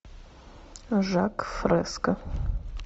жак фреско